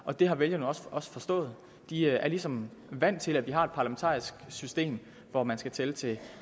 og det har vælgerne også forstået de er ligesom vant til at vi har et parlamentarisk system hvor man skal tælle til